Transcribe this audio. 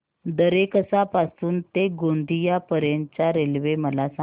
दरेकसा पासून ते गोंदिया पर्यंत च्या रेल्वे मला सांगा